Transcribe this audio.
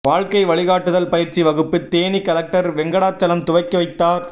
வாழ்க்கை வழிகாட்டுதல் பயிற்சி வகுப்பு தேனி கலெக்டர் வெங்கடாசலம் துவக்கி வைத்தார்